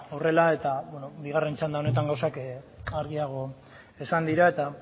horrela eta beno bigarren txanda honetan gauzak argiago esan dira eta